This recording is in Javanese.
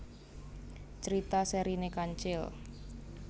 Crita serine Kancil